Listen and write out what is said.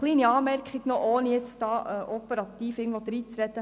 Eine kleine Anmerkung, ohne in den operativen Bereich hineinreden zu wollen: